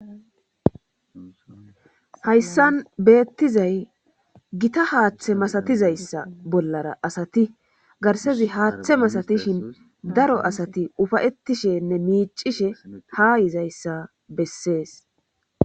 Hayssan beettizay gita haaththe masatizayssa bollara asati garsezi haaththe masatishin daro asati ufayettishenne miicishe ha yizayssa bessees